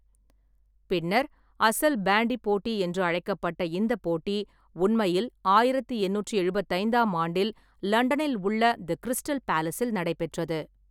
பின்னர் "அசல் பேண்டி போட்டி" என்று அழைக்கப்பட்ட இந்த போட்டி உண்மையில் ஆயிரத்து எண்ணூற்று எழுபத்தைந்தாம் ஆண்டில் லண்டனில் உள்ள தி கிரிஸ்டல் பேலஸில் நடைபெற்றது.